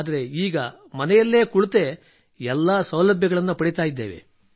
ಆದರೆ ಈಗ ಮನೆಯಲ್ಲಿ ಕುಳಿತೇ ಎಲ್ಲಾ ಸೌಲಭ್ಯಗಳನ್ನು ಪಡೆಯುತ್ತಿದ್ದೇವೆ